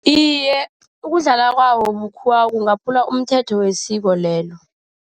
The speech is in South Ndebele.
Iye, ukudlala kwawo bukhudlwa kungaphula umthetho wesiko lelo.